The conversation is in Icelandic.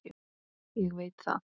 Ég veit það